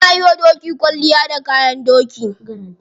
Ana yiwa doki kwalliya da kayan doki.